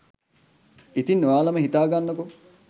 ඉතින් ඔයාලම හිතාගන්නකෝ